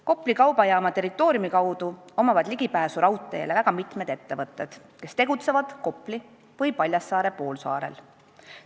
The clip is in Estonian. " Kopli kaubajaama territooriumi kaudu omavad ligipääsu raudteele väga mitmed ettevõtted, kes tegutsevad Kopli või Paljassaare poolsaarel.